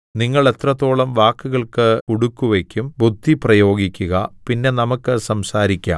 നിങ്ങൾ എത്രത്തോളം വാക്കുകൾക്ക് കുടുക്കുവയ്ക്കും ബുദ്ധിപ്രയോഗിക്കുക പിന്നെ നമുക്ക് സംസാരിക്കാം